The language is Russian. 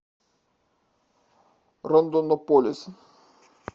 рондонополис